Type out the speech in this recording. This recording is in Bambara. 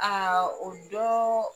o dɔɔ